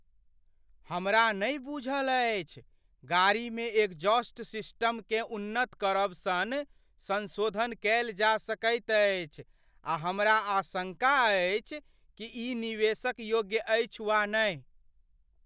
हमरा नहि बूझल अछि गाड़ीमे एग्जॉस्ट सिस्टमकेँ उन्नत करब सन संशोधन कयल जा सकैत अछि आ हमरा आशंका अछि कि ई निवेशक योग्य अछि वा नहि।